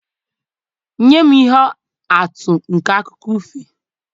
Nye m ihe atụ nke akụkọ ifo